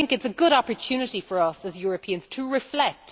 I think it is a good opportunity for us as Europeans to reflect.